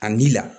A n'i la